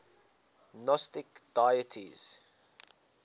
gnostic deities